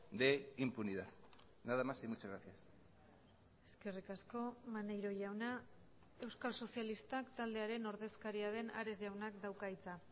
de impunidad nada más y muchas gracias eskerrik asko maneiro jauna euskal sozialistak taldearen ordezkaria den ares jaunak dauka hitza